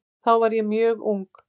Þá var ég mjög ung.